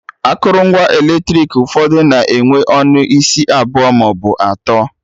Akụrụngwa eletrik ụfọdụ na-enwe ọnụ isi abụọ maọbụ atọ